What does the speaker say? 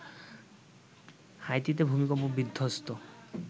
হাইতিতে ভূমিকম্প বিধ্বস্ত